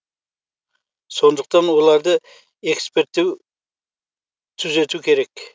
сондықтан оларды эксперттер түзету керек